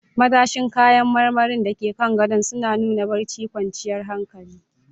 Matashin kayan marmari da ke kan gadon suna nuna barcin kwanciyar hankali.